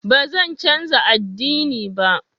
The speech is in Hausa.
Ba zan canza ad'dini ba.